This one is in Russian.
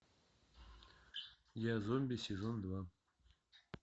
я зомби сезон два